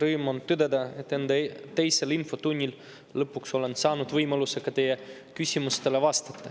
Rõõm on tõdeda, et oma teisel infotunnil lõpuks olen saanud võimaluse ka teie küsimustele vastata.